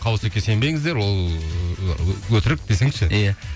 қау өсекке сенбеңіздер ол і өтірік десеңші иә